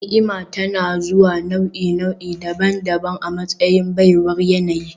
Ni'ima tana zuwa ta nau'i-nau'i daban-daban a matsayin baiwar yanayi